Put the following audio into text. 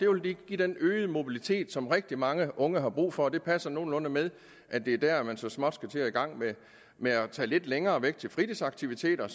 vil lige give den øgede mobilitet som rigtig mange unge har brug for det passer nogenlunde med at det er dér man så småt skal i gang med at tage lidt længere væk til fritidsaktiviteter